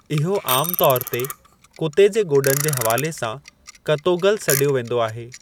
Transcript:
इहो आमु तौर ते कुते जे गोॾनि जे हवाले सां, 'कतोगल सॾियो वेंदो आहे।